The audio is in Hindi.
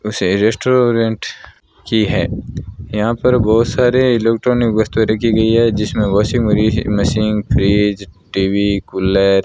उसी रेस्टोरेंट की है यहां पर बहोत सारे इलेक्ट्रॉनिक वस्तुएं रखी गई है जिसमें वाशिंग वरीसी मशीन फ्रिज टी_वी कुलर --